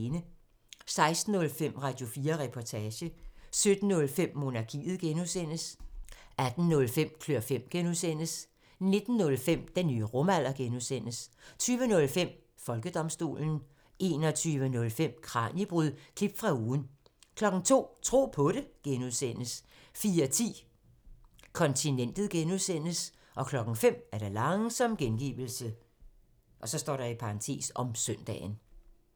16:05: Radio4 Reportage 17:05: Monarkiet (G) 18:05: Klør fem (G) 19:05: Den nye rumalder (G) 20:05: Folkedomstolen 21:05: Kraniebrud – klip fra ugen 02:00: Tro på det (G) 04:10: Kontinentet (G) 05:00: Langsom gengivelse (søn)